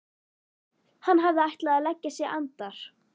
Hann hafði ætlað að leggja sig andar